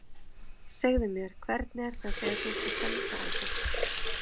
Segðu mér, hvernig er það þegar þú ert að senda á fólk.